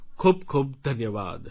ખૂબ ખૂબ ધન્યવાદ